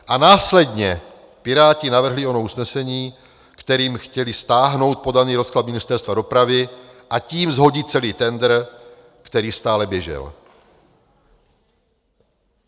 A následně Piráti navrhli ono usnesení, kterým chtěli stáhnout podaný rozklad Ministerstva dopravy, a tím shodit celý tendr, který stále běžel.